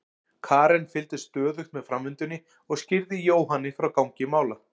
Karen fylgdist stöðugt með framvindunni og skýrði Jóhanni frá gangi mála.